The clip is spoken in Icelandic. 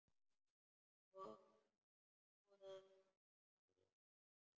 Hnoðað sá ég hvergi.